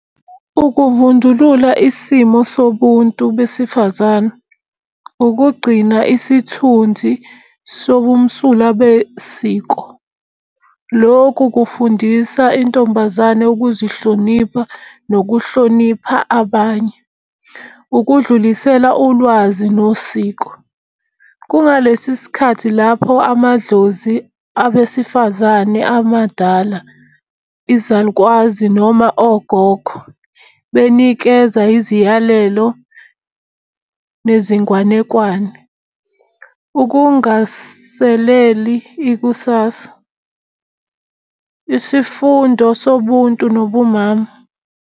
Ukuvundulula isimo sobuntu besifazane, ukugcina isithunzi sobumsulwa besiko. Lokhu kufundisa intombazane ukuzihlonipha nokuhlonipha abanye. Ukudlulisela ulwazi nosiko, kungalesi sikhathi lapho amadlozi abesifazane amadala izalukwazi noma ogogo benikeza iziyalelo nezingwanekwane. Ukungaseleli ikusasa isifundo sobuntu nobumama.